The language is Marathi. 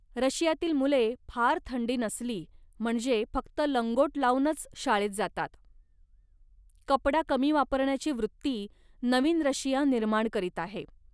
रशियातील मुले फार थंडी नसली, म्हणजे फक्त लंगोट लावूनच शाळेत जातात. कपडा कमी वापरण्याची वृत्ती नवीन रशिया निर्माण करीत आहे